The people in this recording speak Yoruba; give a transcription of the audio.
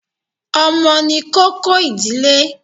Ọmọ ni kókó ìdílé.